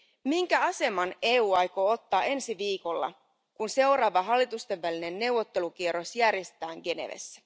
Minkä aseman EU aikoo ottaa ensi viikolla, kun seuraava hallitustenvälinen neuvottelukierros järjestetään Genevessä?